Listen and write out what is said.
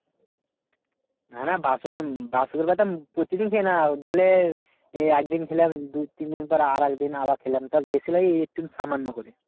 না না প্রতিদিন খাই না ধরলে একদিন খেলাম দু তিন দিন পর আরেকদিন আবার খেলাম তাও বেশি না সামান্য করে।